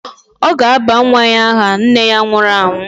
Ọ ga-aba nwa ya aha nne ya nwụrụ anwụ.